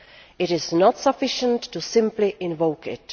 It is not sufficient to simply invoke it.